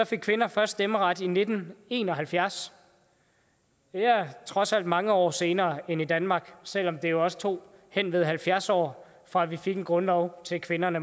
fik kvinder først stemmeret i nitten en og halvfjerds det er trods alt mange år senere end i danmark selv om det jo også tog henved halvfjerds år fra vi fik en grundlov til kvinderne